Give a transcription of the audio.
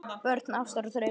Börn ástar og drauma